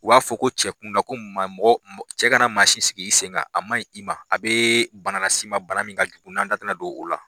U b'a fɔ ko cɛkun na ko maa mɔgɔ cɛ ka na mansi sigi i sen kan a maɲ i ma a bɛ bana las'i ma bana min ka jugun n'an da tɛ na don o la.